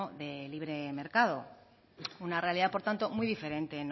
de libre mercado una realidad por tanto muy diferente